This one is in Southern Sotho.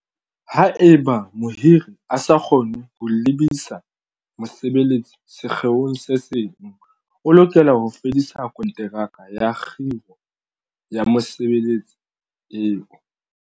Haeba mohiri a sa kgone ho lebisa mosebeletsi sekgeong se seng, o lokela ho fedisa konteraka ya kgiro ya mosebeletsi eo.